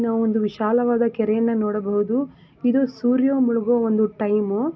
ನಾವು ಒಂದು ವಿಶಾಲವಾದ ಕೆರೆಯನ್ನ ನೋಡಬಹುದು ಇದು ಸೂರ್ಯ ಮುಳಗೋ ಒಂದು ಟೈಮ್ --